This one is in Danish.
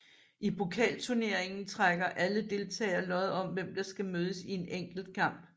I pokalturneringen trækker alle deltagere lod om hvem der skal mødes i en enkelt kamp